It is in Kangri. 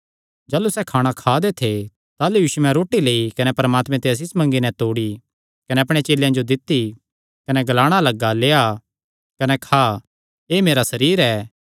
जाह़लू सैह़ खाणा खा दे थे यीशुयैं रोटी लेई कने आसीष मंगी नैं तोड़ी कने तिन्हां चेलेयां जो दित्ती कने ग्लाणा लग्गा लेआ कने खा एह़ मेरा सरीर ऐ